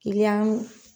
Kiliyan